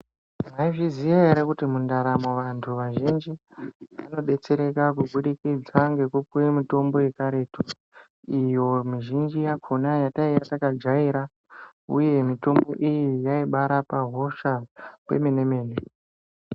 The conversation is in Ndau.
Mwai zviziya ere kuti mundaramo vantu vazhinji vano detsereka kubudikidza ngeku kuye mitombo ye karetu iyo mi zhinji yakona yataiya taka jaira uye mitombo iyi yai bai rape hosha kwemene mene.